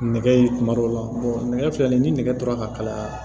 Nɛgɛ ye kuma dɔw la nɛgɛ filɛ nin ye ni nɛgɛ tora ka kalaya